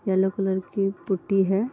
Yellow colour की putty है।